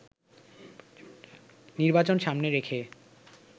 নির্বাচন সামনে রেখে